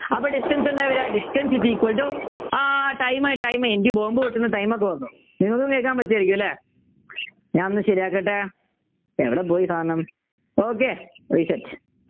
അപ്പൊ Distance എന്താ വരുക Distance is equal to ah Time ആയി Time ആയി എനിക്ക് bomb പൊട്ടുന്ന Time ഒക്കെ വന്നു നിങ്ങക്കും കേൾക്കാൻ പറ്റുമായിരിക്കും അല്ലെ ഞാനൊന്നു ശരിയാക്കട്ടെ ഏടപ്പോയി സാധനം okay reset